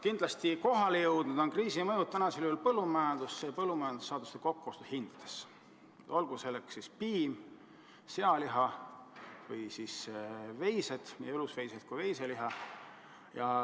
Kindlasti on kohale jõudnud kriisi mõju põllumajanduses ja see avaldub ka põllumajandussaaduste kokkuostuhindades, olgu selleks piim, sealiha või veised – nii elusveised kui veiseliha.